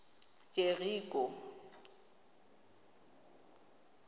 jeriko